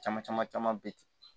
Caman caman caman bɛ ten